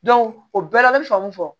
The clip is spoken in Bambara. o bɛɛ la an bɛ faamu fɔ